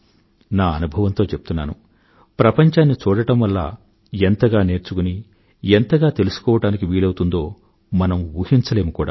నా అనుభవంతో చెప్తున్నాను ప్రపంచాన్ని చూడడం వల్ల ఎంతగా నేర్చుకుని ఎంతగా తెలుసుకోవడానికి వీలవుతుందో మనం ఊహించలేరు కూడా